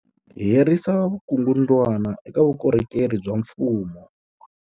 Ku herisa vukungundwani eka vukorhokeri bya mfumo.